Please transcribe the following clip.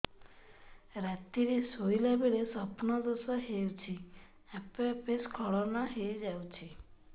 ରାତିରେ ଶୋଇଲା ବେଳେ ସ୍ବପ୍ନ ଦୋଷ ହେଉଛି ଆପେ ଆପେ ସ୍ଖଳନ ହେଇଯାଉଛି